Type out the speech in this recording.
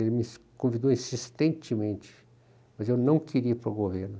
Ele me convidou insistentemente, mas eu não queria ir para o governo.